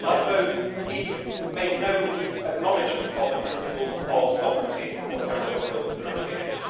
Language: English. Like those, it made no acknowledgement of the principles of sovereignty or territorial jurisdiction.